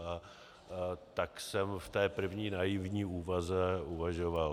A tak jsem v té první naivní úvaze uvažoval.